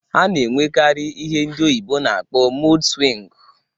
Ha na-enwekarị ihe ndị oyibo na-akpọ mud swịngụ.